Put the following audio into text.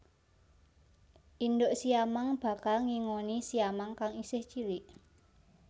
Induk siamang bakal ngingoni siamang kang isih cilik